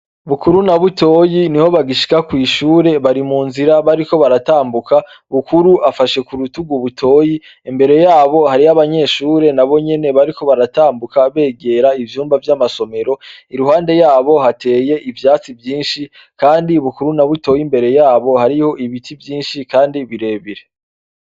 Bukuru na Butoyi niho bagishika kw'ishure, bari mu nzira bariko baratambuka, Bukuru afashe ku rutugu Butoyi, imbere yabo hariyo abanyeshuri na bo nyene bariko baratambuka begera ivyuma vy'amasomero, iruhande yabo hateye ivyatsi vyinshi, kandi Bukuru na Butoyi imbere yabo hariyo ibiti vyinshi kandi birebire.